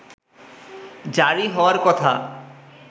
জারি হওয়ার কথা